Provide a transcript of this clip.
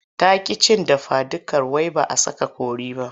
Ta ƙi cin dafadukar wai ba a sa kori ba.